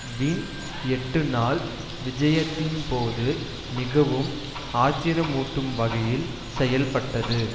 win எட்டுநாள் விஜயத்தின் போது மிகவும் ஆத்திரமூட்டும் வகையில் செயல்பட்டது